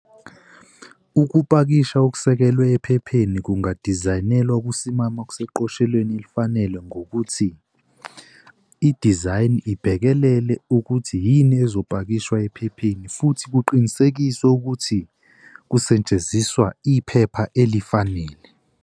Ukupakisha okusekelwe ephepheni kungadizayinelwa ukusimama okuseqophelweni elifanele ngokuthi idizayini ibhekelele ukuthi yini ezopakishwa ephepheni futhi kuqinisekiswe ukuthi kusetshenziswa iphepha elifanele.